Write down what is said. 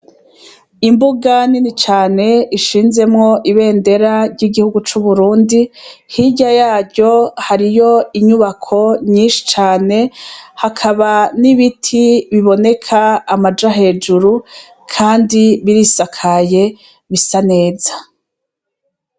Imbuga nini cane ishinzemwo ibendera ry'igihugu c'Uburundi, hirya yaryo hariyo inyubako nyinshi cane, hakaba n'ibiti biboneka amaja hejuru kandi birisakaye bisa neza.